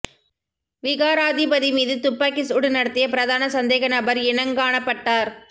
விகாராதிபதி மீது துப்பாக்கி சூடு நடத்திய பிரதான சந்தேக நபர் இனங்காணப்பட்டார்